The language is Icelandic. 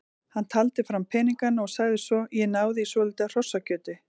Hann taldi fram peningana og sagði svo: Ég náði í svolítið af hrossakjöti.